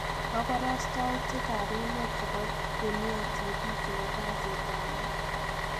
Koborstoutik ab emet chebo Dunia TV chebo kasiit ab muut.